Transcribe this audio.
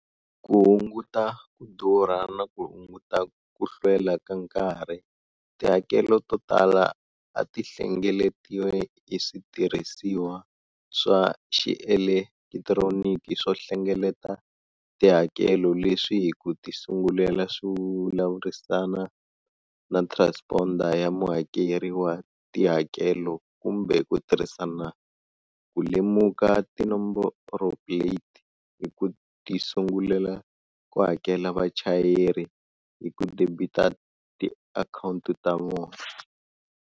Ku hunguta ku durha na ku hunguta ku hlwela ka nkarhi, tihakelo to tala ti hlengeletiwa hi switirhisiwa swa xielekitironiki swo hlengeleta tihakelo leswi hi ku tisungulela swi vulavurisana na transponder ya muhakeri wa tihakelo kumbe ku tirhisa ku lemuka tinomboroplate hi ku tisungulela ku hakela vachayeri hi ku debita tiakhawunti ta vona.